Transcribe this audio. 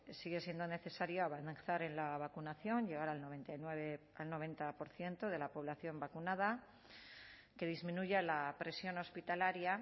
sigue siendo necesaria avanzar en la vacunación llegar al noventa y nueve al noventa por ciento de la población vacunada que disminuya la presión hospitalaria